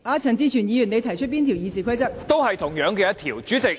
陳志全議員，你引用哪一條《議事規則》提出問題？